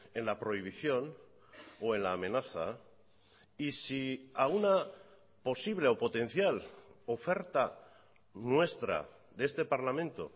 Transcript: en la prohibición o en la amenaza y si a una posible o potencial oferta nuestra de este parlamento